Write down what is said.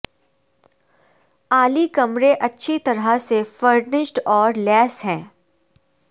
اعلی کمرے اچھی طرح سے فرنشڈ اور لیس ہیں